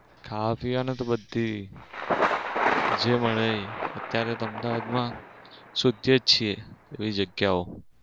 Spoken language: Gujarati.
ખાવા પીવાની તો બધી જે મળે એ અત્યારે તો અમદાવાદ માં શોધીએ જ છીએ એવી જગ્યાઓ.